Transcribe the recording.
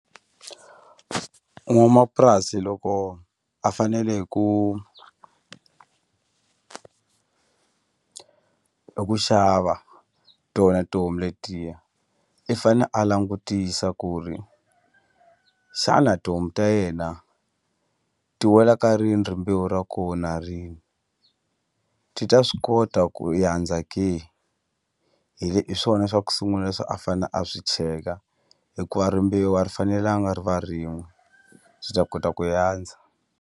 N'wamapurasi loko a fanele hi eku xava tona tihomu letiya i fane a langutisa ku ri xana tihomu ta yena ti wela ka rini rimbewu ra kona rini ti ta swi kota ku yandza ke hi swona swa ku sungula leswi a fane a swi cheka hikuva rimbewu a ri fanelanga ri va rin'we swi ta kota ku yandza.